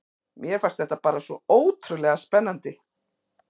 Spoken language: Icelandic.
Mér fannst þetta bara svo ótrúlega spennandi.